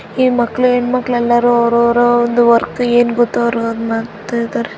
ಈ ಮಕ್ಕಳು ಹೆಣ್ಮಕ್ಳೆಲ್ಲರೂ ಅವರವರ ಒಂದು ವರ್ಕ್ ಏನ್ ಗೊತ್ತು ಅವರು ಅದನ್ನು ಮಾಡ್ತಾ ಇದ್ದಾರೆ .